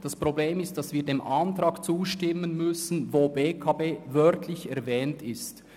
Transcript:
Das Problem ist, dass wir einem Antrag zustimmen müssen, in welchem die BEKB wörtlich erwähnt ist.